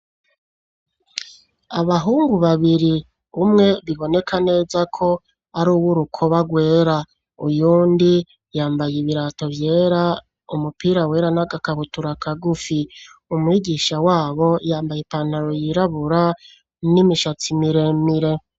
Abahungu babiri umwe biboneka neza ko ar'uw'urukoba rwera ,uyundi yambaye ibirato vyera, umupira wera n'agakabutura kagufi, umwigisha wabo yambaye ipantaro yirabura n'imishatsi miremire.